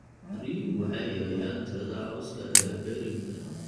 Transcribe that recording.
Riyuhu waxay yareeyaan tirada cawska ee berrinka.